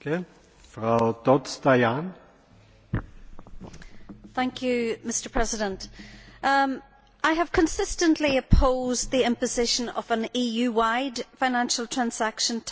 Mr President, I have consistently opposed the imposition of an EU wide financial transaction tax.